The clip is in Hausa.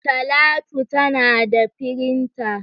Talatu ta nada firinta.